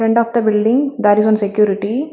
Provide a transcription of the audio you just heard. Front of the building there is one security.